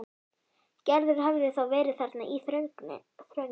Gerður hafði þá verið þarna í þrönginni.